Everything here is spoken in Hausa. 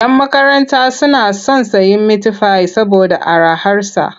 Yan makaranta suna son sayen mitifai saboda araharsa.